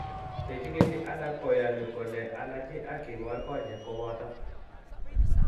Chechikili alak koyaani kole allergy ak kinwar konyek kooboto.